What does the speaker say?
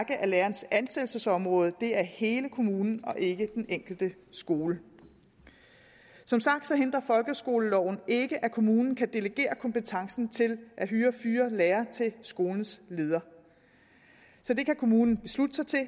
at lærerens ansættelsesområde er hele kommunen og ikke den enkelte skole som sagt hindrer folkeskoleloven ikke at kommunen kan delegere kompetencen til at hyre og fyre lærere til skolens leder så det kan kommunen beslutte sig til at